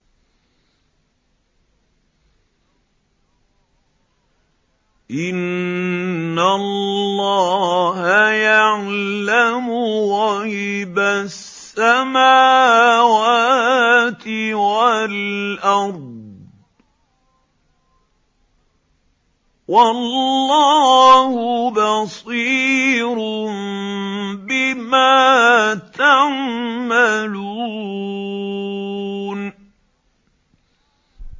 إِنَّ اللَّهَ يَعْلَمُ غَيْبَ السَّمَاوَاتِ وَالْأَرْضِ ۚ وَاللَّهُ بَصِيرٌ بِمَا تَعْمَلُونَ